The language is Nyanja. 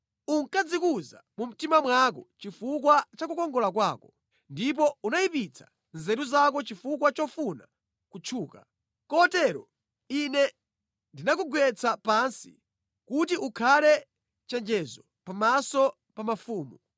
Unkadzikuza mu mtima mwako chifukwa cha kukongola kwako, ndipo unayipitsa nzeru zako chifukwa chofuna kutchuka. Kotero Ine ndinakugwetsa pansi kuti ukhala chenjezo pamaso pa mafumu.